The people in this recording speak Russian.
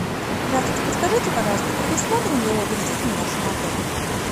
здравствуйте подскажите пожалуйста предусмотрен ли отдых с детьми в вашем отеле